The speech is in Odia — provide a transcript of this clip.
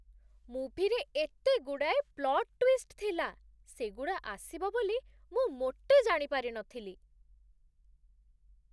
ମୁଭିରେ ଏତେଗୁଡ଼ାଏ ପ୍ଲଟ୍ ଟ୍ୱିଷ୍ଟ ଥିଲା! ସେଗୁଡ଼ା ଆସିବ ବୋଲି ମୁଁ ମୋଟେ ଜାଣି ପାରିନଥିଲି ।